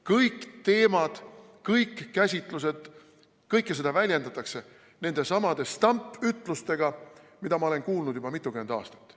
Kõik teemad, kõik käsitlused – kõike seda väljendatakse nendesamade stampütlustega, mida ma olen kuulnud juba mitukümmend aastat.